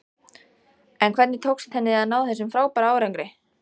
En hvernig tókst henni að ná þessum frábæra árangri?